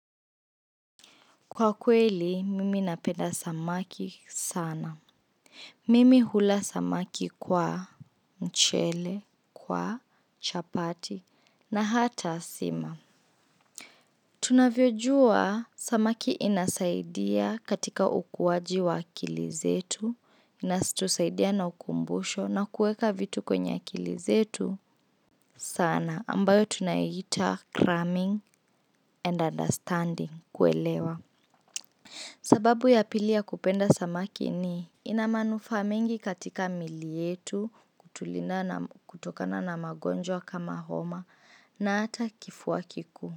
Kwa kweli, mimi napenda samaki sana. Mimi hula samaki kwa mchele, kwa chapati, na hata sima. Tunavyojua, samaki inasaidia katika ukuaji wa akili zetu, inatusaidia na ukumbusho, na kuweka vitu kwenye akili zetu sana, ambayo tunaita cramming and understanding, kuelewa. Sababu ya pili ya kupenda samaki ni ina manufaa mengi katika miili yetu. Kutokana na magonjwa kama homa na hata kifua kikuu.